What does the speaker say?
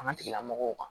An ka tigilamɔgɔw kan